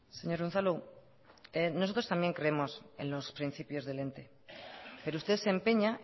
señor unzalu nosotros también creemos en los principios del ente pero usted se empeña